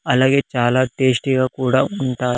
అలాగే చాలా టేస్టీ గా కూడా ఉంట--